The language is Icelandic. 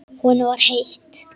Honum var heitt.